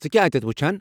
ژٕ كیاہ اتیتھ وٗچھان ؟